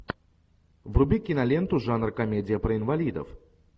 вруби киноленту жанр комедия про инвалидов